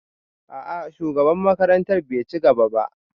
A'a shugaban makarantar bai ci gaba ba